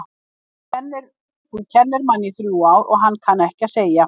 Þú kennir manni í þrjú ár og hann kann ekki að segja